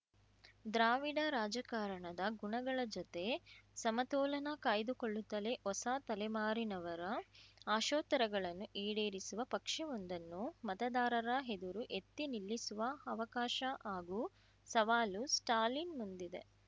ದ್ರಾವಿಡ ರಾಜಕಾರಣದ ಗುಣಗಳ ಜೊತೆ ಸಮತೋಲನ ಕಾಯ್ದುಕೊಳ್ಳುತ್ತಲೇ ಹೊಸ ತಲೆಮಾರಿನವರ ಆಶೋತ್ತರಗಳನ್ನು ಈಡೇರಿಸುವ ಪಕ್ಷವೊಂದನ್ನು ಮತದಾರರ ಎದುರು ಎತ್ತಿ ನಿಲ್ಲಿಸುವ ಅವಕಾಶ ಹಾಗೂ ಸವಾಲು ಸ್ಟಾಲಿನ್‌ ಮುಂದಿದೆ